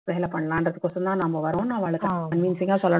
வேலை பண்ணலான்றதுக்கு ஒசரம் தான் நாம வரோம்ன்னு அவாள convincing அ சொல்லணும்